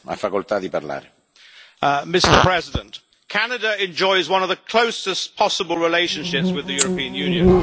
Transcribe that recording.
Mr President, Canada enjoys one of the closest possible relationships with the European Union.